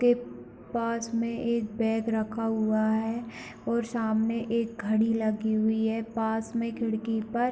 के पास में एक बैग रखा हुआ है और सामने एक घड़ी लगी हुई है पास में खिड़की पर --